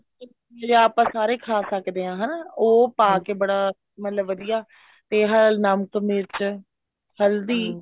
ਜਿੱਦਾਂ ਆਪਾਂ ਸਾਰੇ ਖਾ ਸਕਦੇ ਆ ਹਨਾ ਉਹ ਪਾਕੇ ਬੜਾ ਮਤਲਬ ਵਧੀਆ ਤੇ ਨਮਕ ਮਿਰਚ ਹਲਦੀ